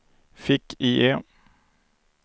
fick-IE